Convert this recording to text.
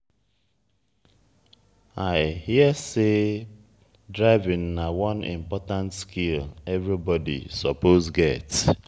i hear sey driving na one important skill everybody suppose get.